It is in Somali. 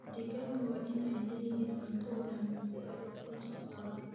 Digaagga waa in ay leeyihiin cunto wanaagsan si ay ukun u soo saaraan.